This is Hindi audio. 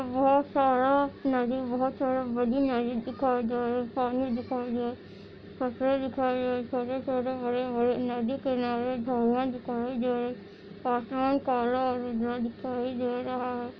बहुत सारा नदी बहुत सारा बड़ी नदी दिखाई दे रहे है पानी दिखाई दे पेड़ दिखाई दे रहे है छोटे - छोटे हरे - हरे नदी के किनारे एक झरना दिखाई दे रहे है आसमान कला उजला दिखाई दे रहा है।